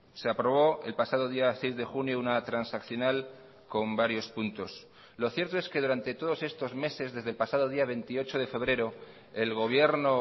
se aprobó el pasado día seis de junio una transaccional con varios puntos lo cierto es que durante todos estos meses desde el pasado día veintiocho de febrero el gobierno